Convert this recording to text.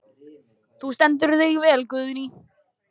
Þú stendur þig vel, Guðný!